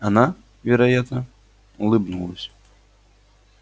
она вероятно улыбнулась